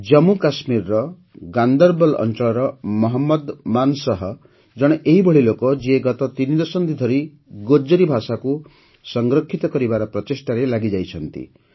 ଜାମ୍ମୁକାଶ୍ମୀରର ଗାନ୍ଦରବଲ୍ ଅଞ୍ଚଳର ମହମ୍ମଦ ମାନ ଶାହ୍ ଜଣେ ଏପରି ଲୋକ ଯିଏ ଗତ ତିନିଦଶନ୍ଧି ଧରି ଗୋଜରୀ ଭାଷାକୁ ସଂରକ୍ଷିତ କରିବାର ପ୍ରଚେଷ୍ଟାରେ ଲାଗିରହିଛନ୍ତି